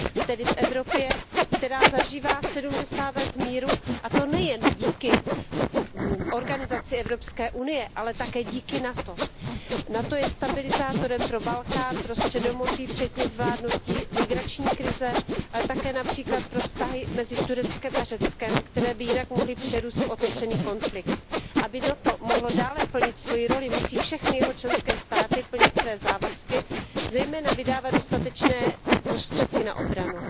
Tedy v Evropě, která zažívá sedmdesát let míru, a to nejen díky organizaci Evropské unie, ale také díky NATO. NATO je stabilizátorem pro Balkán, pro Středomoří, včetně zvládnutí migrační krize, ale také například pro vztahy mezi Tureckem a Řeckem, které by jinak mohly přerůst v otevřený konflikt. Aby NATO mohlo dále plnit svoji roli, musí všechny jeho členské státy plnit své závazky, zejména vydávat dostatečné prostředky na obranu.